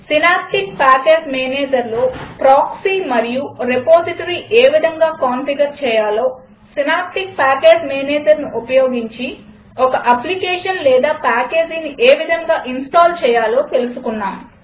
synaptic package Managerలో proxy మరియు repository ఏ విధంగా కాన్ఫిగర్ చేయాలో సినాప్టిక్ ప్యాకేజ్ Managerను ఉపయోగించి ఒక అప్లికేషన్ లేదా పాకేజీని ఏ విధంగా ఇన్స్టాల్ చేయాలో తెలుసుకున్నాం